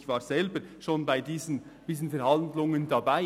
Ich war selber schon bei solchen Verhandlungen dabei.